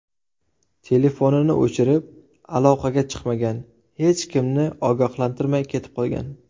Telefonini o‘chirib, aloqaga chiqmagan, hech kimni ogohlantirmay ketib qolgan.